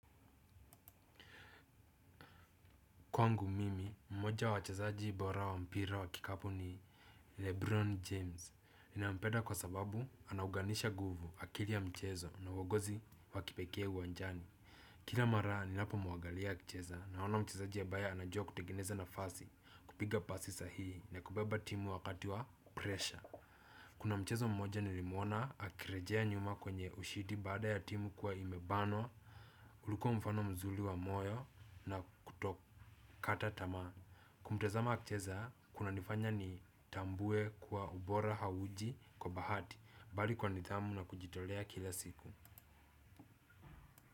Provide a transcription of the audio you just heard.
Kwangu mimi, mmoja wachezaji bora wa mpira wa kikapu ni Lebron James. Ninampeda kwa sababu anauganisha nguvu, akili ya mchezo na uongozi wakipekee uwanjani. Kila mara, ninapomuagalia akicheza, naona mchezaji ambaye anajua kutegeneza nafasi, kupiga pasi sahihi na kubeba timu wakati wa 'pressure'. Kuna mchezo mmoja nilimuona akirejea nyuma kwenye ushindi baada ya timu kuwa imebanwa, ulikua mfano mzuri wa moyo na kutokata tamaa. Kutamzama akicheza, kuna nifanya nitambue kuwa ubora hauji kwa bahati, bali kwa nidhamu na kujitolea kila siku.